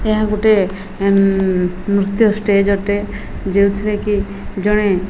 ଏହା ଗୁଟେ ନୃତ୍ୟ ଷ୍ଟେଜ ଅଟେ ଯେଉଁଥିରେ କି ଜଣେ --